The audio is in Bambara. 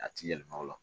A ti yɛlɛma o la